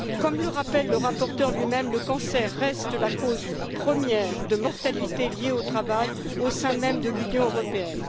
Comme le rappelle le rapporteur lui même le cancer reste la cause première de mortalité liée au travail au sein même de l'Union européenne.